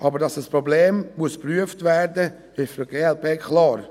Aber dass dieses Problem geprüft werden muss, ist für die glp klar.